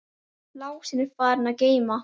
Lási er farinn að geyma.